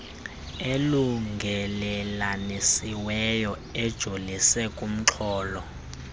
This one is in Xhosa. elungelelanisiweyo ejolise kumxholo